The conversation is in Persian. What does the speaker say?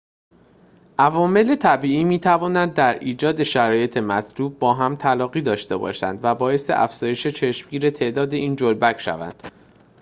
عوامل طبیعی می‌توانند در ایجاد شرایط مطلوب با هم تلاقی داشته باشند و باعث افزایش چشمگیر تعداد این جلبک شوند